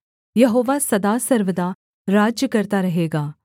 यहोवा सदा सर्वदा राज्य करता रहेगा